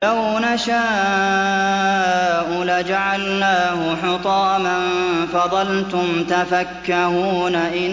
لَوْ نَشَاءُ لَجَعَلْنَاهُ حُطَامًا فَظَلْتُمْ تَفَكَّهُونَ